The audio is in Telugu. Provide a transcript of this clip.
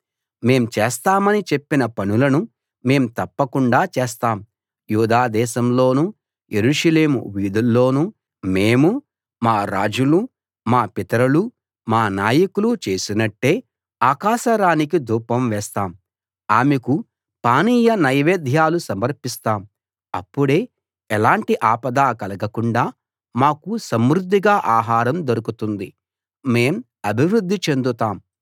మేం చేస్తామని చెప్పిన పనులను మేం తప్పకుండా చేస్తాం యూదా దేశంలోనూ యెరూషలేము వీధులలోనూ మేమూ మా రాజులూ మా పితరులూ మా నాయకులూ చేసినట్టే ఆకాశ రాణికి ధూపం వేస్తాం ఆమెకు పానీయ నైవేద్యాలు సమర్పిస్తాం అప్పుడే ఎలాంటి ఆపదా కలగకుండా మాకు సమృద్ధిగా ఆహారం దొరుకుతుంది మేం అభివృద్ధి చెందుతాం